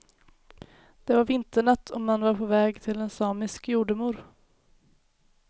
Det var vinternatt och man var på väg till en samisk jordemor.